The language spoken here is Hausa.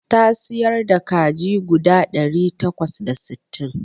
Ta siyar da kaji guda ɗari takwas da sittin